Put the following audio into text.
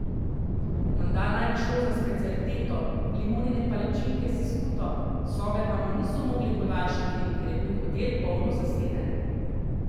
Menda naj bi šlo za specialiteto, limonine palačinke s skuto, sobe pa mu niso mogli podaljšati, ker je bi hotel polno zaseden.